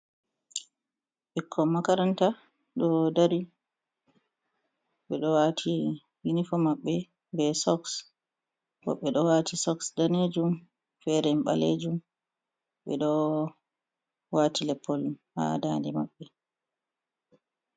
Ɓikkon makaranta ɗo dari ɓe ɗo wati unifom maɓɓe, be soks, bo ɓe ɗo wati soks danejum, fere ɓalejum, ɓeɗo wati lepol ha dande maɓɓe.